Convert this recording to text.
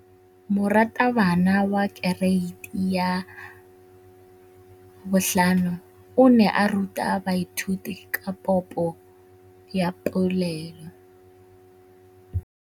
Moratabana wa kereiti ya 5 o ne a ruta baithuti ka popô ya polelô.